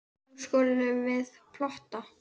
Nú skulum við plotta.